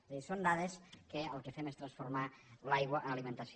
és a dir són dades que el que fem és transformar l’aigua en alimentació